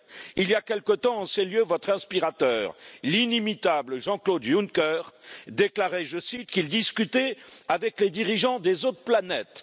Il y a quelque temps, en ces lieux, votre inspirateur, l'inimitable Jean Claude Juncker, déclarait, je cite, qu'il discutait avec les dirigeants des autres planètes.